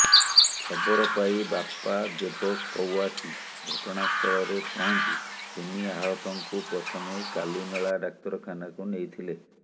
ଖବର ପାଇ ବାପା ଦେବ କୱାସି ଘଟଣାସ୍ଥଳରେ ପହଞ୍ଚି ତିନି ଆହତଙ୍କୁ ପ୍ରଥମେ କାଲିମେଳା ଡାକ୍ତରଖାନାକୁ ନେଇଥିଲେ